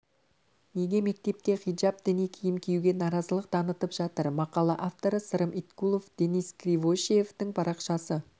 неге мектепте хижап діни киім киюге нарызылық танытып жатыр мақала авторы сырым иткулов денис кривошеевтің парақшасы